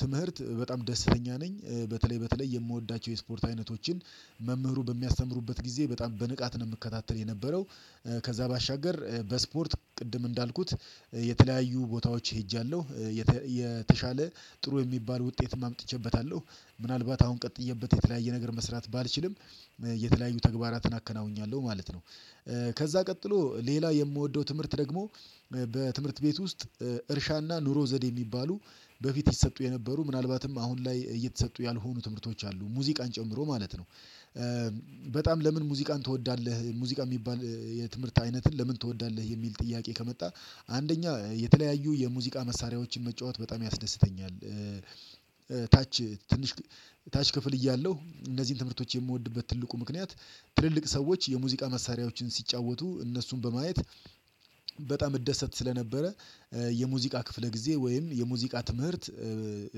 ትምህርት በጣም ደስተኛ ነኝ በተለይ በተለይ የምወዳቸው የስፖርት አይነቶችን መምህሩ በሚያስተምሩበት ጊዜ በጣም በንቃት ነው የምከታተል የነበረው። ከዛ ባሻገር በስፖርት ቅድም እንዳልኩት የተለያዩ ቦታዎች ሄጃለሁ የተሻለ ጥሩ የሚባል ውጤትም አምጥቼበታለሁ ምናልባት አሁን ቀጥየበት የተለያየ ነገር መስራት ባልችልም የተለያዩ ተግባራትን አከናውኛለሁ ማለት ነው። ከዛ ቀጥሎ ሌላ የምወደው ትምህርት ደግሞ በትምህርት ቤት ውስጥ እርሻ እና ኑሮ ዘዴ የሚባሉ በፊት ይሰጡ የነበሩ ምናልባትም አሁን ላይ እየተሰጡ ያልሆኑ ትምህርቶች አሉ ሙዚቃን ጨምሮ ማለት ነው። በጣም ለምን ሙዚቃን ትወዳለህ ሙዚቃ የሚባል የትምህርት አይነትን ለምን ትወዳለህ የሚል ጥያቄ ከመጣ አንደኛ የተለያዩ የሙዚቃ መሳሪያዎችን መጫወት በጣም ያስደስተኛል። ታች ትንሽ ታች ክፍል እያለሁ እነዚህን ትምህርቶች የምወድበት ትልቁ ምክንያት ትልልቅ ሰዎች የሙዚቃ መሳሪያዎችን ሲጫወቱ እነሱን በማየት በጣም እደሰት ስለነበረ የሙዚቃ ክፍለ ጊዜ ወይም የሙዚቃ ትምህርት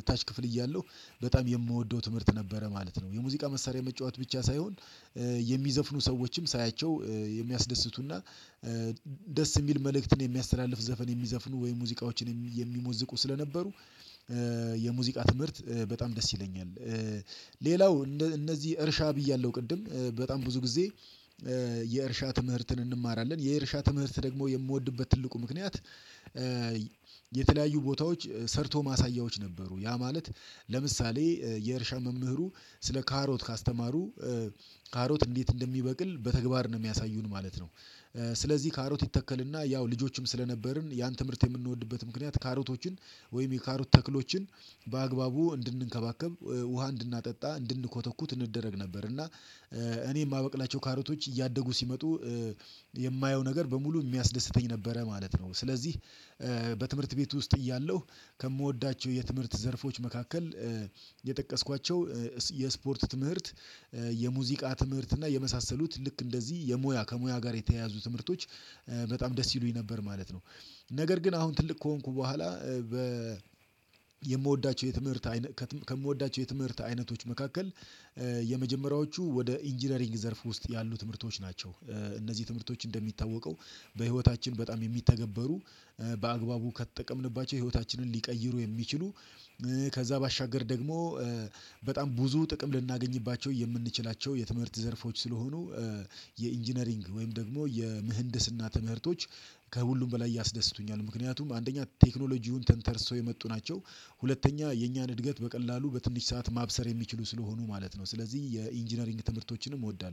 ታች ክፍል እያለሁ በጣም የምወደው ትምህርት ነበረ ማለት ነው። የሙዚቃ መሳሪያ መጫወት ብቻ ሳይሆን የሚዘፍኑ ሰዎችም ሳያቸው የሚያስደስቱና ደስ የሚል መልእክትን የሚያስተላልፍ ዘፈን የሚዘፍኑ ወይ ሙዚቃዎችን የሚሞዝቁ ስለነበሩ የሙዚቃ ትምህርት በጣም ደስ ይለኛል። ሌላው እነዚህ እርሻ ብያለሁ ቅድም በጣም ብዙ ጊዜ የእርሻ ትምህርትን እንማራለን የእርሻ ትምህርት ደግሞ የምወድበት ትልቁ ምክንያት ቦታዎች ሰርቶ ማሳያዎች ነበሩ። ያ ማለት ለምሳሌ የእርሻ መምህሩ ስለ ካሮት ካስተማሩ ካሮት እንዴት እንደሚበቅል በተግባር ነው የሚያሳዩን ማለት ነው። ስለዚህ ካሮት ይተከል እና ያው ልጆችም ስለነበርን ያን ትምህርት የምንወድበት ምክንያት ካሮቶችን ወይም የካሮት ተክሎችን በአግባቡ እንድንከባከብ ውሃ እንድናጠጣ እንድንኮተኩት እንደረግ ነበር እና እኔ የማበቅላቸው ካሮቶች እያደጉ ሲመጡ የማየው ነገር በሙሉ የሚያስደስተኝ ነበረ ማለት ነው። ስለዚህ በትምህርት ቤት ውስጥ እያለሁ ከምወዳቸው የትምህርት ዘርፎች መካከል የጠቀስኳቸው የስፖርት ትምህርት የሙዚቃ ትምህርት እና የመሳሰሉት ልክ እንደዚህ የሙያ ከሙያ ጋር የተያያዙ ትምህርቶች በጣም ደስ ይሉኝ ነበር ማለት ነው። ነገር ግን አሁን ትልቅ ከሆንኩ በኋላ በ የምወዳቸው የትምህርት አይነት ከምወዳቸው የትምህርት አይነቶች መካከል የመጀመሪያዎቹ ወደ ኢንጂነሪንግ ዘርፍ ውስጥ ያሉ ትምህርቶች ናቸው። እነዚህ ትምህርቶች እንደሚታወቀው በህይወታችን በጣም የሚተገበሩ በአግባቡ ከተጠቀምንባቸው ህይወታችንን ሊቀይሩ የሚችሉ ከዛ ባሻገር ደግሞ በጣም ብዙ ጥቅም ልናገኝባቸው የምንችላቸው የትምህርት ዘርፎች ስለሆኑ የኢንጂነሪንግ ወይም ደግሞ የምህንድስ እና ትምህርቶች ከሁሉም በላይ ያስደስቱኛል። ምክንያቱም አንደኛ ቴክኖሎጂውን ተንተርሰው የመጡ ናቸው ሁለተኛ የእኛን እድገት በቀላሉ በትንሽ ሰዓት ማብሰር የሚችሉ ስለሆኑ ማለት ነው። ስለዚህ የኢንጂነሪንግ ትምህርቶችንም እወዳለሁ